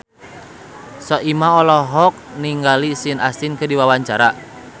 Soimah olohok ningali Sean Astin keur diwawancara